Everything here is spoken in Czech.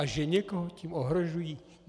A že někoho tím ohrožují?